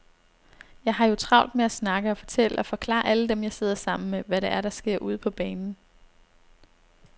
Jeg har jo travlt med at snakke og fortælle og forklare alle dem, jeg sidder sammen med, hvad det er, der sker ude på banen.